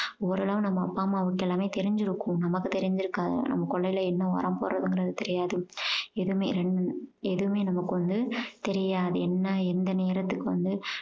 oral ஆ நம்ம அப்பா அம்மாவுக்கு எல்லாமே தெரிஞ்சிருக்கும் நமக்கு தெரிஞ்சிருக்காது நம்ம கொல்லையில என்ன வரப் போறதுங்கிறது தெரியாது எதுவுமே~ எதுவுமே நமக்கு வந்து தெரியாது. என்ன எந்த நேரத்துக்கு வந்து